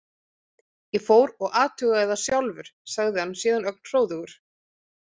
Ég fór og athugaði það sjálfur, sagði hann síðan ögn hróðugur.